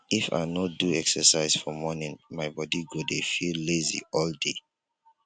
if i no do exercise for morning my body go dey feel lazy all day.